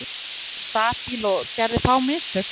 Var annars nokkuð stabíll og gerði fá mistök.